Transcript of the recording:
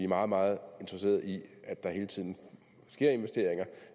meget meget interesserede i at der hele tiden sker investeringer